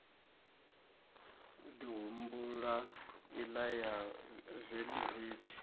ḓi humbula iḽa ya veḽivethi